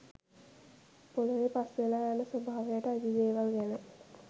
පොළොවේ පස් වෙලා යන ස්වභාවයට අයිති දේවල් ගැන